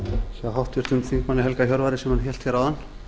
hjá háttvirtum þingmanni helga hjörvar sem hann hélt hér áðan